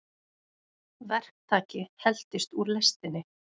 Verktaki heltist úr lestinni